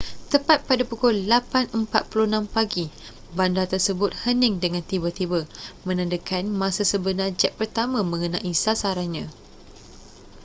tepat pada pukul 8:46 pagi bandar tersebut hening dengan tiba-tiba menandakan masa sebenar jet pertama mengenai sasarannya